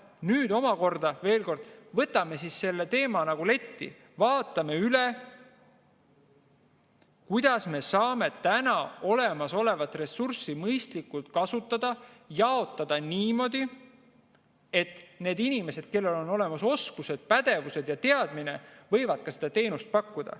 Nüüd omakorda, veel kord, võtame selle teema nagu letti, vaatame üle, kuidas me saame olemasolevat ressurssi mõistlikult kasutada, jaotada niimoodi, et need inimesed, kellel on olemas oskused, pädevused ja teadmised, saaksid seda teenust pakkuda.